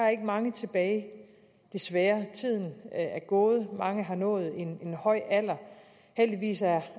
er mange tilbage desværre tiden er gået mange har nået en en høj alder heldigvis er